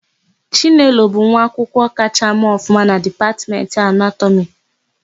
Chinelo bụ nwaakwụkwọ kachaa mee ọfụma na Dipatmentị Anatọmị.